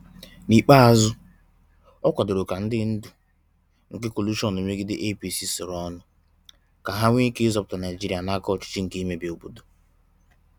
N’ikpeazụ, o kwadoro ka ndị ndu nke kọlụshọn megide APC soro ọnụ, ka ha nwee ike ịzọpụta Naịjịrịa n’aka ọchịchị nke imebi obodo.